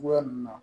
Cogoya min na